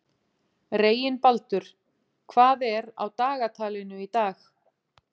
Reginbaldur, hvað er á dagatalinu í dag?